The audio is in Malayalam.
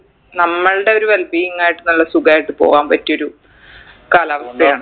നമ്മൾടെ ഒരു well being ആയിട്ട് നല്ല സുഖായിട്ട് പോവാൻ പറ്റിയൊരു കാലാവസ്ഥയാണ്